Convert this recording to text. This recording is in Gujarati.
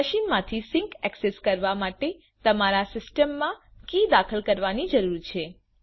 મશીન માંથી સિંક એક્સેસ કરવા માટે તમારા સિસ્ટમમાં આ કી દાખલ કરવી જરૂરી છે